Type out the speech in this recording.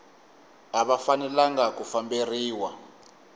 a va fanelanga ku famberiwa